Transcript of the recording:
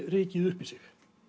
rykið upp í sig